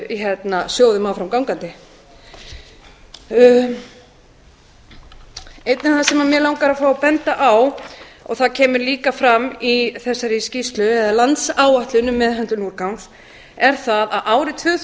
sjóðum áfram gangandi einnig það sem mig langar að fá að benda á og það kemur líka fram í þessari skýrslu eða landsáætlun um meðhöndlun úrgangs er það að árið tvö